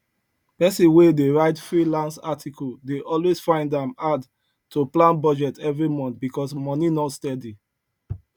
person wey dey write freelance article dey always find am hard to plan budget every month because money no steady